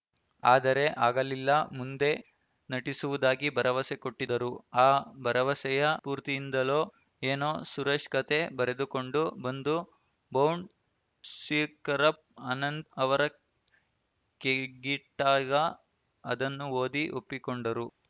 ಆದರೆ ಆಗಲಿಲ್ಲ ಮುಂದೆ ನಟಿಸುವುದಾಗಿ ಭರವಸೆ ಕೊಟ್ಟಿದ್ದರು ಆ ಭರವಸೆಯ ಸ್ಫೂರ್ತಿಯಿಂದಲೋ ಏನೋ ಸುರೇಶ್‌ ಕತೆ ಬರೆದುಕೊಂಡು ಬಂದು ಬೌಂಡ್‌ ಶೀಪ್ ಕರಪ್ ಅನಂತ್ ಅವರ ಕೈಗಿಟ್ಟಾಗ ಅದನ್ನು ಓದಿ ಒಪ್ಪಿಕೊಂಡರು